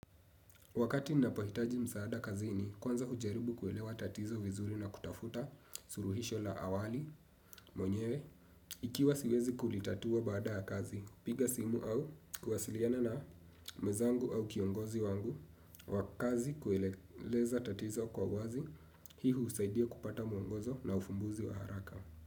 Wakati ninapohitaji msaada kazini, kwanza hujaribu kuelewa tatizo vizuri na kutafuta suluhisho la awali, mwenyewe, ikiwa siwezi kulitatua baada ya kazi, hupiga simu au kuwasiliana na mwezangu au kiongozi wangu, wa kazi kueleza tatizo kwa wazi, hii husaidia kupata mwongozo na ufumbuzi wa haraka.